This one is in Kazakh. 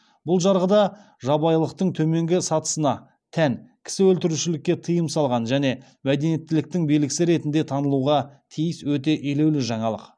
бұл жарғы да жабайылықтың төменгі сатысына тән кісі өлтірішулікке тыйым салған және мәдениеттіліктің белгісі ретінде танылуға тиіс өте елеулі жаңалық